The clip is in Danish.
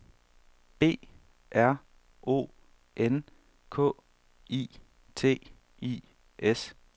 B R O N K I T I S